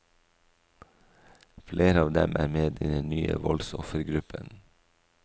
Flere av dem er med i den nye voldsoffergruppen.